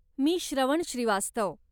मी Shravan Srivastava.